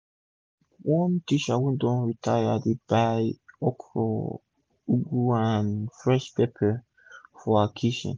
everi week one teacher wey don retire dey buy okro ugu and fresh pepper for her kitchen